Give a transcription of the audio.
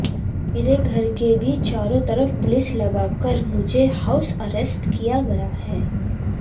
मेरे घर के भी चारों तरफ पुलिस लगाकर मुझे हाउस अरेस्ट किया गया है